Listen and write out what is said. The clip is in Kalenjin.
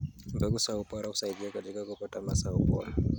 Mbegu za ubora husaidia katika kupata mazao bora.